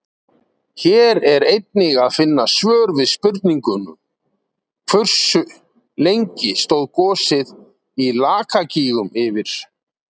Hér er einnig að finna svör við spurningunum: Hversu lengi stóð gosið í Lakagígum yfir?